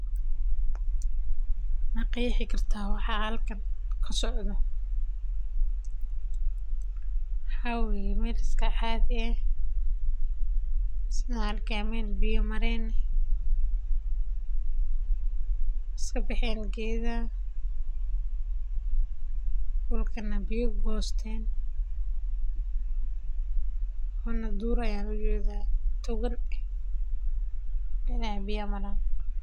Ma qeexi kartaa waxa halkan kasocdo waxa waye waqtiga safarka suuqa ee bankiga wuxuuna siinaya adeegsadaha amni iyo xasilooni ayado laga taxadaayo waxaa waye inaad gacanta lagu soo gure barada lashiide waxaa waye waa shirkad weyn waye hilibkan nafkan.